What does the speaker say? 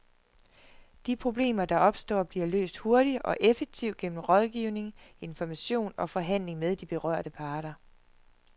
De problemer, der opstår, bliver løst hurtigt og effektivt gennem rådgivning, information og forhandling med de berørte parter.